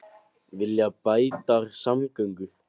Vilja bættar samgöngur